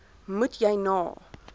moet jy na